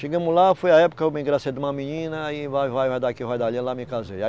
Chegamos lá, foi a época, eu me engracei de uma menina, e vai, vai, vai daqui, vai dali, lá me casei. aí